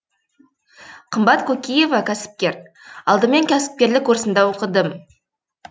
қымбат кокиева кәсіпкер алдымен кәсіпкерлік курсында оқыдым